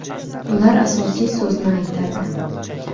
Ular asosiy so‘zni aytadi.